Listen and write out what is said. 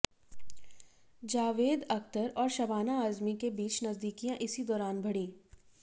जावेद अख्तर और शबाना आजमी के बीच नजदीकियां इसी दौरान बढ़ीं